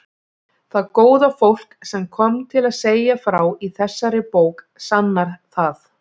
Það góða fólk sem kom til að segja frá í þessari bók sannar það.